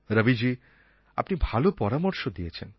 রবিজী আপনি ভালো পরামর্শ দিয়েছেন